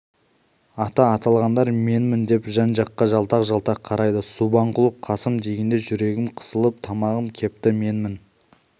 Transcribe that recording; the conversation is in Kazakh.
аты аталғандар менмін деп біз жаққа жалтақ-жалтақ қарайды субанқұлов қасым дегенде жүрегім қысылып тамағым кепті менмін